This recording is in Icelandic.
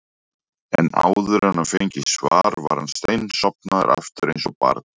en áður en hann fengi svar var hann steinsofnaður aftur eins og barn.